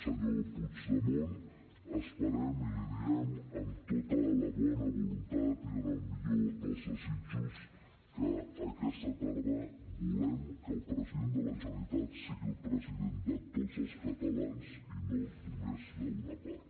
senyor puigdemont esperem i li ho diem amb tota la bona voluntat i amb el millor dels desitjos que aquesta tarda volem que el president de la generalitat sigui el president de tots els catalans i no només d’una part